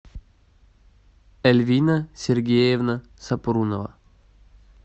эльвина сергеевна сапрунова